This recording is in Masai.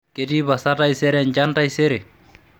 ketii pasa taisere enchan taisere